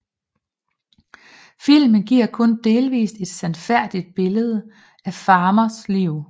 Filmen giver kun delvist et sandfærdigt billede af Farmers liv